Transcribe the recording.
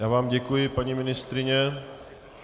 Já vám děkuji, paní ministryně.